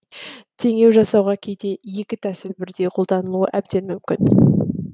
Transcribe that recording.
теңеу жасауға кейде екі тәсіл бірдей қолданылуы әбден мүмкін